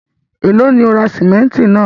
Ẹ̀lọ́ ni o ra símẹ̀ntì náà?